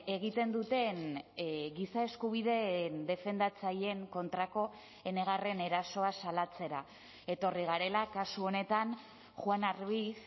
egiten duten giza eskubideen defendatzaileen kontrako enegarren erasoa salatzera etorri garela kasu honetan juana ruiz